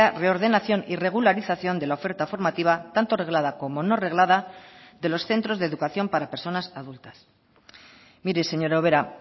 reordenación y regularización de la oferta formativa tanto reglada como no reglada de los centros de educación para personas adultas mire señora ubera